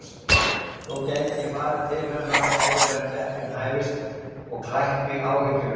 Svo gæti ég farið til hennar áður en keppnin hæfist og klætt mig áhyggjulaus.